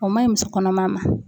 O ma ɲi muso kɔnɔma ma .